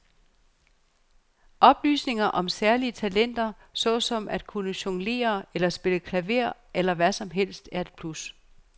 Oplysninger om særlige talenter såsom at kunne jonglere eller spille klaver eller hvad som helst er et plus.